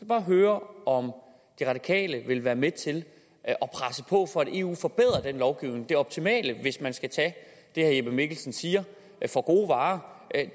bare høre om de radikale vil være med til at presse på for at eu forbedrer den lovgivning det optimale hvis man skal tage det herre jeppe mikkelsen siger for gode varer